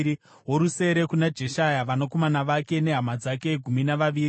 worusere kuna Jeshaya, vanakomana vake nehama dzake—gumi navaviri;